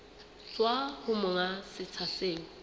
tswa ho monga setsha seo